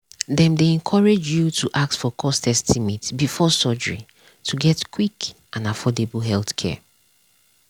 dem dey encourage you to ask for cost estimate before surgery to get quick and affordable healthcare.